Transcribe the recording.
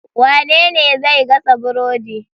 Wanene zai gasa burodi